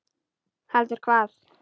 Heldur hvað?